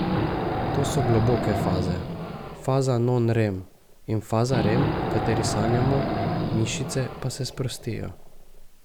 To so globoke faze, faza non rem in faza rem, v kateri sanjamo, mišice pa se sprostijo.